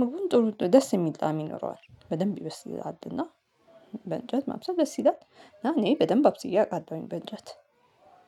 ምግቡን ጥሩ ደስ የሚል ጣም ይኖረዋል። በደንብ ይበስልልሀል እና በእንጨት ማብሰል ደስ ይላል። እና እኔ በደንብ አብስዬ አቃለሁኝ በእንጨት